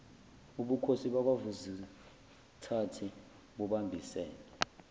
ubukhosi bakwavukuzithathe bubambisene